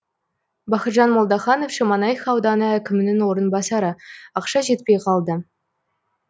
бақытжан молдаханов шемонайха ауданы әкімінің орынбасары ақша жетпей қалды